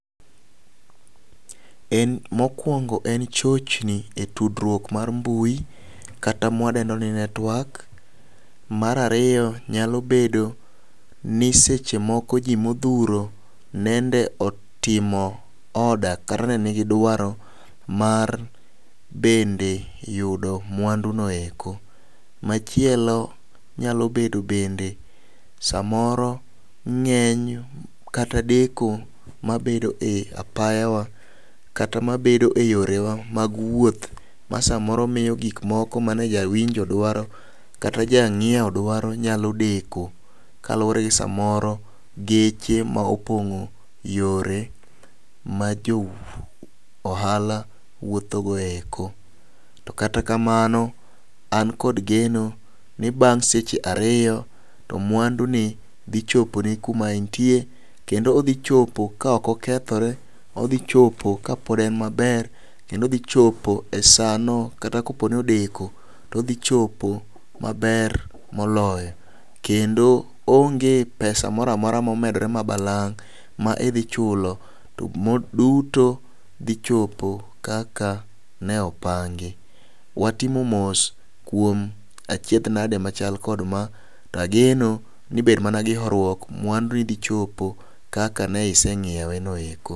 En mokwongo en chochni e tudruok mar mbui kata mwadendo ni network .Mar ariyo nyalo bedo ni seche moko ji modhuro nende otimo order kata ne nigi dwaro mar bende yudo mwandu no eko. Machielo nyalo bedo bende samoro ng'eny kata deko mabedo e apaya wa kata mabed eyorwa mag wuoth ma samoro miyo gik moko mane jawinjo dwaro kata jang'iewo dwaro nyalo deko kaluwre ni samoro geche ma opongo yore ma jo ohala wuotho go eko. To kata kamano an kod geno ni bang' seche ariyo to mwandu ni dhi chopo ni kuma intie kendo odhi chopo ka ok okethore odhi chopo ka pod en maber kendo odhi chopo e sano kata kapo ni odeko todhi chopo maber moloyo kedno oonge pesa moramora momenore ma nbalang' ma idhi chulo to mo duto dhi chopo kaka ne opangi. Watimo mos kuom achiedh nade machal kod ma, ageno ni med mana gi horruok mwandu ni dhi chopo kaka ne iseng'iewe no eko.